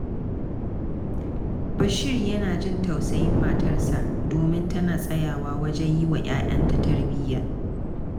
Bashir yana jin tausayin matarsa, domin tana tsayawa wajen yi wa ‘ya’yanta tarbiyya.